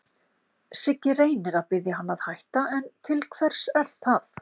Siggi reynir að biðja hann að hætta, en til hvers er það?